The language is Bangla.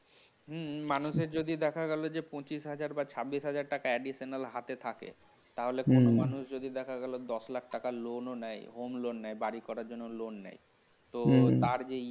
হম মানুষের যদি দেখা গেল যে পঁচিশ হাজার বা ছাব্বিশ হাজার টাকায় additional হাতে থাকে তাহলে যদি দেখা গেল দশ লাখ টাকার loan নেয় home loan নেয়বাড়ি করার জন্য loan তো তার